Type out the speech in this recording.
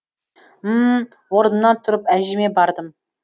м м м орнымнан тұрып әжеме бардым